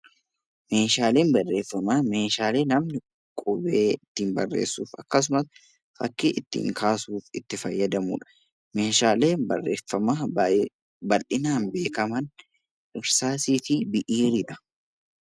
Meeshaaleen barreeffamaa meeshaalee namni qubee ittiin barreessu yookaan fakkii ittiin kaasuuf itti fayyadamudha. Meeshaaleen barreeffamaa baay'ee bal'inaan beekaman qubeessaa fi qalamadha.